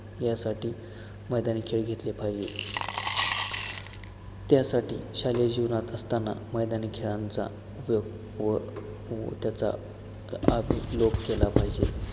यासाठी मैदानी खेळ घेतले पाहिजेत त्यासाठी शालेय जीवनात असताना मैदानी खेळांचा उपयोग व त्याचा अभीलोक केला पाहिजे